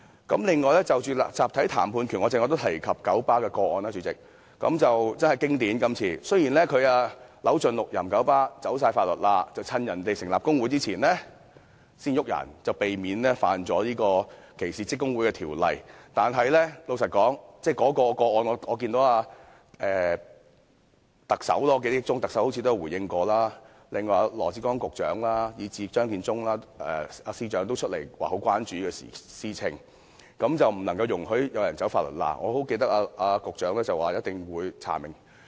此外，有關集體談判權，我剛才也提到九巴的個案，這次事件真的相當經典，九巴固然扭盡六壬地想"走法律罅"，趁員工成立工會前解僱有關車長，以免違反歧視職工會的條例，但對於這宗個案，我記憶中特首好像也有作出回應，而羅致光局長以至張建宗司長也有出來表示關注，說不容許有人"走法律罅"，我記得局長說一定會查明。